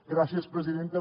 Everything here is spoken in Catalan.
gràcies presidenta